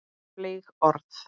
Fleyg orð.